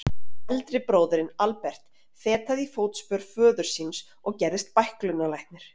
Eldri bróðirinn, Albert, fetaði í fótspor föður síns og gerðist bæklunarlæknir.